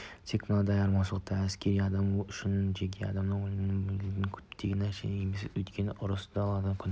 тек мынандай айырмашылықтарымен әскери адам үшін жеке адам өлімі болуы мүмкіндігі күтпеген нәрсе емес өйткені ұрыс даласында күн